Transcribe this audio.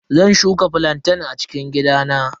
Zan shuka flantain a cikin gidana.